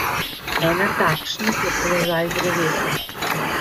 Ena takšnih je položaj drevesa.